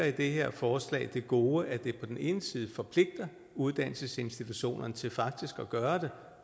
i det her forslag ligger det gode at det på den ene side forpligter uddannelsesinstitutionerne til faktisk at gøre